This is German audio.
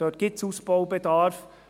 Dort gibt es Ausbaubedarf.